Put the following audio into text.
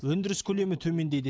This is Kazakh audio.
өндіріс көлемі төмендейді